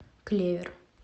клевер